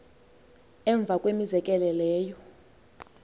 emva kwemizekelo leyo